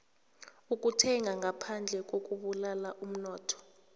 ukuthenga ngaphandle kubulala umnotho